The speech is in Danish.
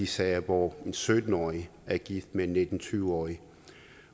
sager hvor en sytten årig er gift med en nitten til tyve årig